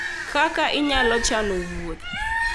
Kaka Inyalo Chano Wuoth